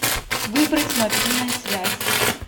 выбрать мобильная связь